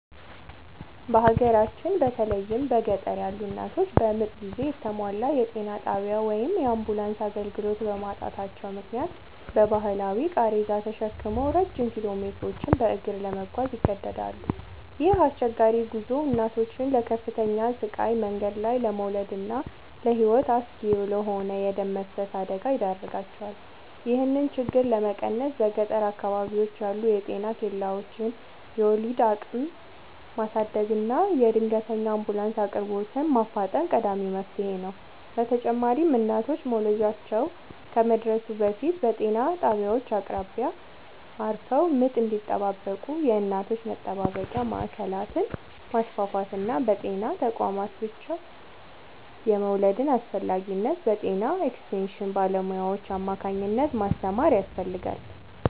በሀገራችን በተለይም በገጠር ያሉ እናቶች በምጥ ጊዜ የተሟላ የጤና ጣቢያ ወይም የአምቡላንስ አገልግሎት በማጣታቸው ምክንያት በባህላዊ ቃሬዛ ተሸክመው ረጅም ኪሎሜትሮችን በእግር ለመጓዝ ይገደዳሉ። ይህ አስቸጋሪ ጉዞ እናቶችን ለከፍተኛ ስቃይ፣ መንገድ ላይ ለመውለድና ለሕይወት አስጊ ለሆነ የደም መፍሰስ አደጋ ይዳርጋቸዋል። ይህንን ችግር ለመቀነስ በገጠር አካባቢዎች ያሉ የጤና ኬላዎችን የወሊድ አቅም ማሳደግና የድንገተኛ አምቡላንስ አቅርቦትን ማፋጠን ቀዳሚው መፍትሔ ነው። በተጨማሪም እናቶች መውለጃቸው ከመድረሱ በፊት በጤና ጣቢያዎች አቅራቢያ አርፈው ምጥ እንዲጠባበቁ የእናቶች መጠባበቂያ ማዕከላትን ማስፋፋትና በጤና ተቋማት ብቻ የመውለድን አስፈላጊነት በጤና ኤክስቴንሽን ባለሙያዎች አማካኝነት ማስተማር ያስፈልጋል።